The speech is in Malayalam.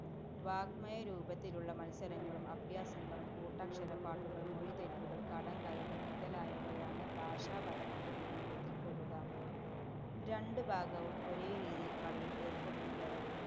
വാങ്മയ രൂപത്തിലുളള മത്സരങ്ങളും അഭ്യാസങ്ങളും, കൂട്ടക്ഷരപ്പാട്ടുകള്‍, മൊഴിത്തെറ്റുകള്‍, കടംകഥകള്‍ മുതലായവയാണ് ഭാഷാപരമായ വിനോദത്തില്‍പ്പെടുക. രണ്ടു ഭാഗവും ഒരേരീതിയില്‍ കളിയില്‍ ഏര്‍പ്പെടുന്നതരം